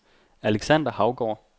Alexander Haugaard